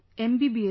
MBBS